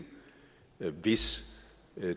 er et hvis